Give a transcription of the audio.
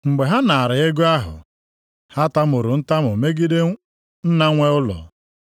Mgbe ha naara ego ahụ, ha tamuru ntamu megide nna nwe ụlọ,